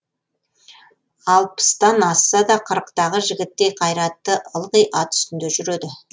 алпыстан асса да қырықтағы жігіттей қайратты ылғи ат үстінде жүреді